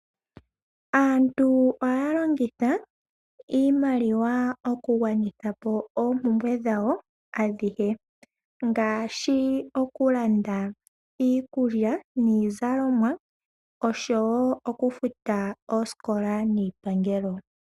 Aantu ohaya longitha iimaliwa okugwanithapo oompumbwe dhawo adhihe. Ngaashi okulanda iikulya niizalomwa, okufuta osikola, oshowo iipangelo.